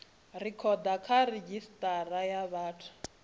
rekhoda kha redzhisitara ya vhathu